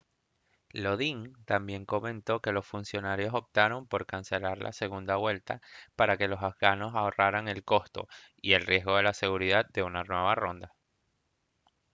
lodin también comentó que los funcionarios optaron por cancelar la segunda vuelta para que los afganos ahorraran el costo y el riesgo de seguridad de una nueva ronda